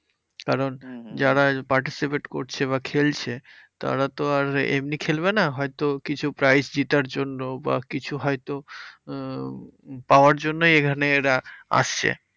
কারণ যারা participate করছে বা খেলছে তারা তো আর এমনি খেলবে না? হয়তো কিছু prize জিতার জন্য বা কিছু হয়তো উম পাওয়ার জন্যেই এখানে এরা আসছে।